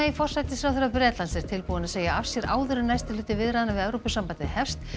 forsætisráðherra Bretlands er tilbúin að segja af sér áður en næsti hluti viðræðna við Evrópusambandið hefst